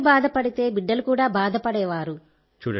తల్లి బాధపడితే బిడ్డలు కూడా బాధపడేవారు